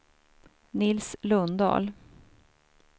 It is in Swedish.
Nils Lundahl